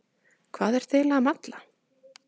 Hvað ertu eiginlega að malla?